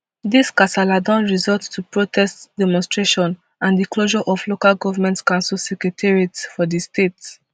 dis kasala don result to protests demonstrations and di closure of local goment council secretariats for di state